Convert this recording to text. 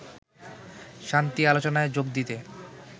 শান্তি আলোচনায় যোগ দিতে